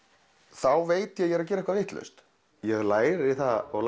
þá veit ég er að gera eitthvað vitlaust ég læri það og